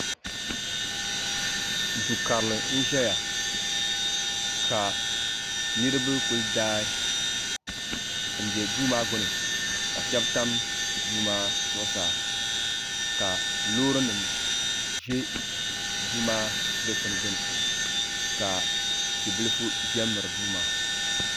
do karili n ʒɛya ka niriba kuli daa n bɛ dooma gbani ka shɛbi tam do maa zuɣ saa ka lorinim ʒɛ domaa dikpani gbani ka tibiliƒɔ ʒɛ mɛri do maa